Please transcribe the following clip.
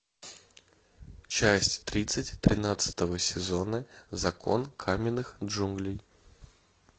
часть тридцать тринадцатого сезона закон каменных джунглей